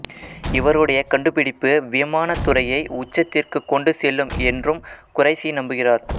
இவருடைய கண்டுபிடிப்பு விமானத் துறையை உச்சத்திற்கு கொண்டு செல்லும் என்றும் குறைசி நம்புகிறார்